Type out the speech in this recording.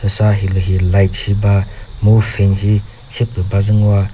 sa hilihi light shi ba mu fan shi sepü bazü ngoa.